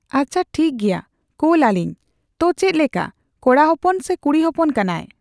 ᱟᱪᱪᱷᱟ ᱴᱷᱤᱠᱜᱮᱭᱟ ᱠᱳᱞ ᱟᱹᱞᱤᱧ᱾ ᱛᱳ ᱪᱮᱫ ᱞᱮᱠᱟ ᱠᱚᱲᱟ ᱦᱚᱯᱚᱱ ᱥᱮ ᱠᱩᱲᱤ ᱦᱚᱯᱚᱱ ᱠᱟᱱᱟᱭ?